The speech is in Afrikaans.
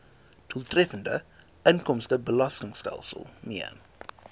doeltreffende inkomstebelastingstelsel mee